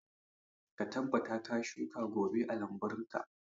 Ka tabbata ka shuka goba a lambunka.